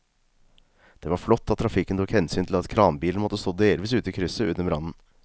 Det var flott at trafikken tok hensyn til at kranbilen måtte stå delvis ute i krysset under brannen.